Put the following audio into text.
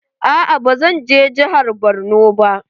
Aa ba zan je jihar Borno ba.